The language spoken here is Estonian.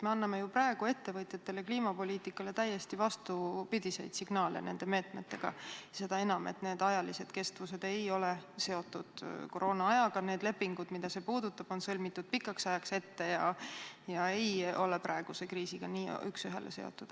Me anname praegu ettevõtjatele nende meetmetega kliimapoliitikale täiesti vastupidiseid signaal, seda enam, et ajaline kestus ei ole seotud koroonaajaga, need lepingud, mida see puudutab, on sõlmitud pikaks ajaks ette ega ole praeguse kriisiga üks ühele seotud.